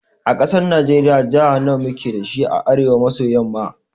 A ƙasar najiriya Jaha nawa muke dashi a arewa maso yamma?